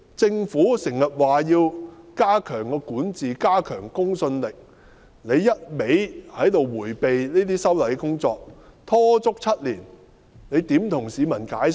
政府時常說要加強管治，加強公信力，但卻一味迴避這些修例工作，拖了7年，怎樣向市民解釋？